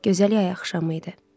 Gözəl yay axşamı idi.